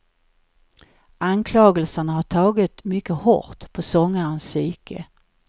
Anklagelserna har tagit mycket hårt på sångarens psyke.